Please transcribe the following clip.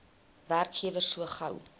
werkgewer so gou